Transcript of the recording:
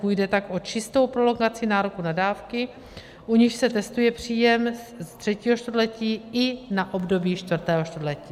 Půjde tak o čistou prolongaci nároku na dávky, u nichž se testuje příjem ze třetího čtvrtletí i na období čtvrtého čtvrtletí.